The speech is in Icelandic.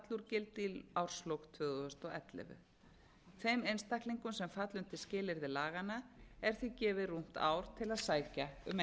í árslok tvö þúsund og ellefu og þeim einstaklingum sem falla undir skilyrði laganna er því gefið rúmt ár til að sækja